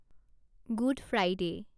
good Friday